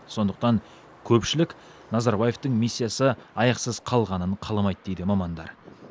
сондықтан көпшілік назарбаевтың миссиясы аяқсыз қалғанын қаламайды дейді мамандар